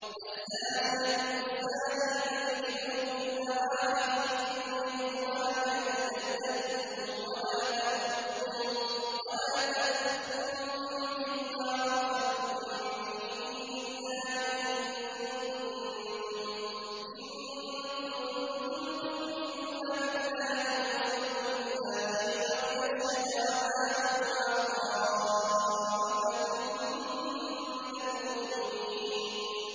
الزَّانِيَةُ وَالزَّانِي فَاجْلِدُوا كُلَّ وَاحِدٍ مِّنْهُمَا مِائَةَ جَلْدَةٍ ۖ وَلَا تَأْخُذْكُم بِهِمَا رَأْفَةٌ فِي دِينِ اللَّهِ إِن كُنتُمْ تُؤْمِنُونَ بِاللَّهِ وَالْيَوْمِ الْآخِرِ ۖ وَلْيَشْهَدْ عَذَابَهُمَا طَائِفَةٌ مِّنَ الْمُؤْمِنِينَ